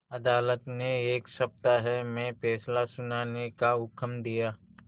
अदालत ने एक सप्ताह में फैसला सुनाने का हुक्म दिया